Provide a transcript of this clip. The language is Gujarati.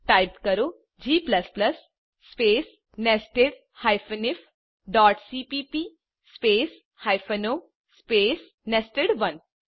ટાઇપ કરો g સ્પેસ nested ifસીપીપી સ્પેસ o સ્પેસ નેસ્ટેડ1